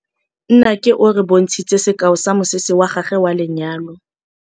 Nnake o re bontshitse sekaô sa mosese wa gagwe wa lenyalo.